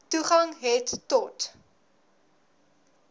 toegang het tot